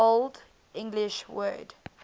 old english word